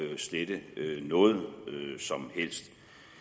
slette noget som helst